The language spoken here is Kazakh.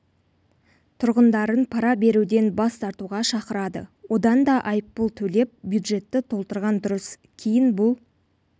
тұрғындарын пара беруден бас тартуға шақырады одан да айыппұл төлеп бюджетті толтырған дұрыс кейін бұл